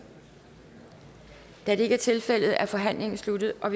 da det ikke er tilfældet er forhandlingen sluttet og